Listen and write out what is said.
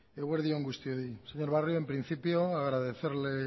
eguerdi on guztioi señor barrio en principio agradecerle